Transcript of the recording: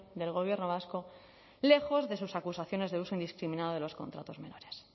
del gobierno vasco lejos de sus acusaciones de uso indiscriminado de los contratos menores